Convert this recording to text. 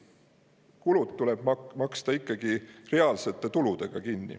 Kulud tuleb maksta kinni ikkagi reaalsete tuludega.